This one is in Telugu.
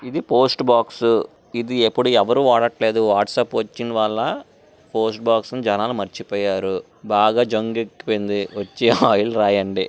ఇది పోస్ట్ బాక్స్ . ఇది ఇప్పుడు ఎవరు వాడట్లేదు. వాట్సప్ వచ్చినవల్ల పోస్ట్ బాక్స్ ని జనాలు మర్చిపోయారు. బాగా జంగెక్కిపోయింది. వచ్చి ఆయిల్ రాయండి.